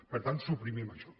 per tant suprimim això